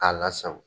K'a lasago